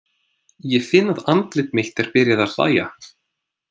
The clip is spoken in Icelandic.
Ég finn að andlit mitt er byrjað að hlæja.